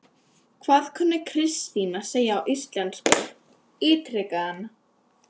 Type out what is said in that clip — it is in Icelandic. Hvað kunni Kristín að segja á íslensku? ítrekaði hann.